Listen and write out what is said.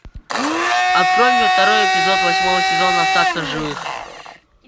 открой мне второй эпизод восьмого сезона остаться в живых